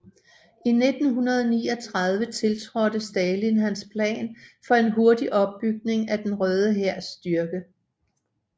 I 1939 tiltrådte Stalin hans plan for en hurtig opbygning af den Røde Hærs styrke